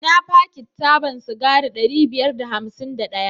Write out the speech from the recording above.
Ina fakit taban sigari ɗari biyar da hamsin da ɗaya?